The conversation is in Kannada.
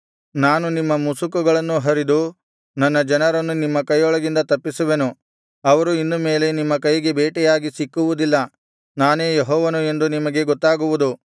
ನಾನು ನಿಮ್ಮ ಮುಸುಕುಗಳನ್ನೂ ಹರಿದು ನನ್ನ ಜನರನ್ನು ನಿಮ್ಮ ಕೈಯೊಳಗಿಂದ ತಪ್ಪಿಸುವೆನು ಅವರು ಇನ್ನು ಮೇಲೆ ನಿಮ್ಮ ಕೈಗೆ ಬೇಟೆಯಾಗಿ ಸಿಕ್ಕುವುದಿಲ್ಲ ನಾನೇ ಯೆಹೋವನು ಎಂದು ನಿಮಗೆ ಗೊತ್ತಾಗುವುದು